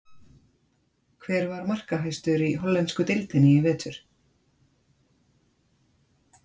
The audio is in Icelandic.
Hver var markahæstur í hollensku deildinni í vetur?